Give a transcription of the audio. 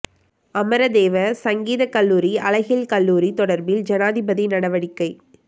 அமரதேவ சங்கீத கல்லூரி அழகியல் கல்லூரி தொடர்பில் ஜனாதிபதி நடவடிக்கை